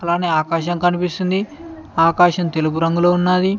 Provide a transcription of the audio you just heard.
అలానే ఆకాశం కనిపిస్తుంది ఆకాశం తెలుపు రంగులో ఉన్నది.